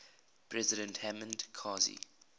president hamid karzai